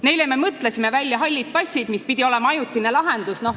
Neile me mõtlesime välja hallid passid, mis pidi olema ajutine lahendus.